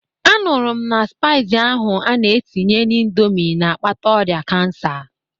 Anụrụ m na spaịs ahụ a na-etinye n'indomi n'akpata ọrịa kansa.